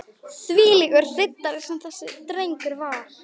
Þvílíkur riddari sem þessi drengur var.